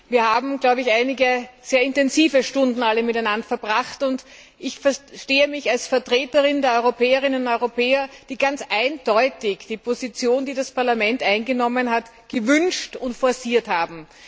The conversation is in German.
Wir haben einige sehr intensive Stunden miteinander verbracht, und ich verstehe mich als Vertreterin der Europäerinnen und Europäer, die ganz eindeutig die Position, die das Parlament eingenommen hat, gewünscht und forciert haben.